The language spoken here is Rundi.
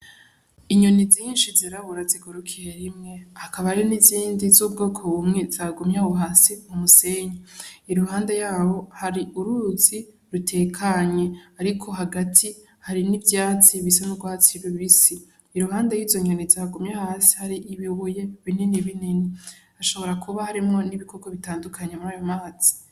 Inyoni zinshi zirabura zigurukiye rimwe hakaba hariho n'izindi z'ubwoko bumwe zagumye aho hasi k'umusenyi 'iruhande yaho hari uruzi rutekanye ,ariko hagati hari n'ivyatsi bisa n'urwatsi rubisi, iruhande yizo nyoni zagumye hasi har'ibibuye binini binini hashobora kuba harimwo n'ibikoko bitandukanye murayo mazi.